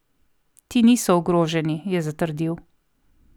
Ti niso ogroženi, je zatrdil.